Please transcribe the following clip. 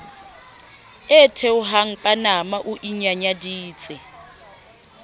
e theohang panama o inyanyaditse